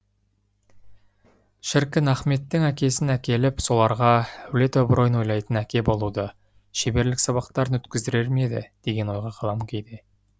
шіркін ахметтің әкесін әкеліп соларға әулет абыройын ойлайтын әке болудан шеберлік сабақтарын өткіздірер ме еді деген ойға қалам кейде